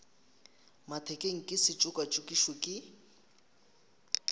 mathekeng ke se tšokatšokišwe ke